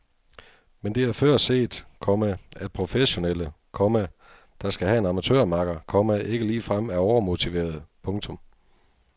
Men det er før set, komma at professionelle, komma der skal have en amatørmakker, komma ikke ligefrem er overmotiverede. punktum